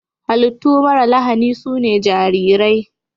Hallitu mara lahani sune jarirai.